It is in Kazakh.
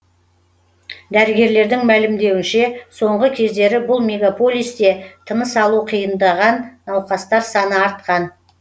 дәрігерлердің мәлімдеуінше соңғы кездері бұл мегаполисте тыныс алуы қиындаған науқастар саны артқан